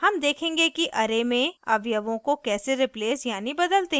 हम देखेंगे कि array में अवयवों को कैसे replace यानी बदलते हैं